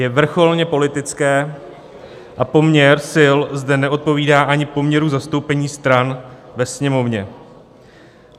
Je vrcholně politické a poměr sil zde neodpovídá ani poměru zastoupení stran ve Sněmovně.